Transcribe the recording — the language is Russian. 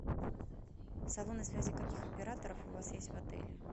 салоны связи каких операторов у вас есть в отеле